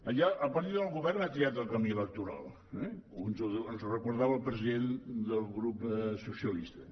allà el partit del govern ha triat el camí electoral eh ens ho recordava el president del grup socialistes